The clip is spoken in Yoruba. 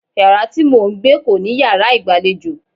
Yàrá tí mò ń gbé kò ní yàrá ìgbàlejò.